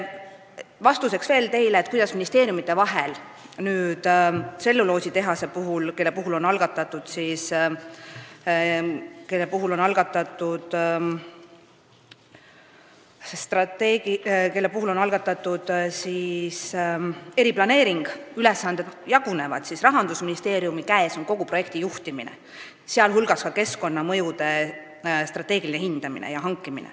Et vastata teile, kuidas ministeeriumide vahel tselluloositehase puhul ülesanded jagunevad – eriplaneering on juba algatatud –, ütlen, et Rahandusministeeriumi käes on kogu projekti juhtimine, sh keskkonnamõjude strateegiline hindamine.